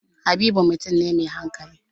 Habib mutum ne mai hankali.